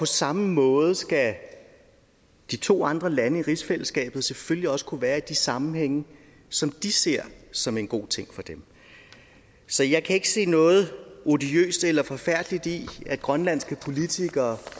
samme måde skal de to andre lande i rigsfællesskabet selvfølgelig også kunne være i de sammenhænge som de ser som en god ting for dem så jeg kan ikke se noget odiøst eller forfærdeligt i at grønlandske politikere